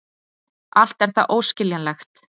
Allt er það óskiljanlegt.